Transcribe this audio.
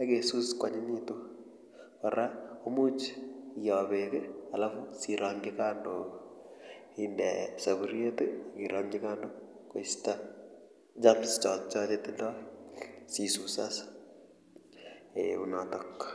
akesus kwanyinyitu kora komuch ioi beek alafu siirongji kando koisto germs chotocho chetindoi siisus as eeh unotok.